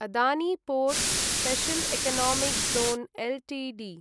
Adani ports special economic zone Ltd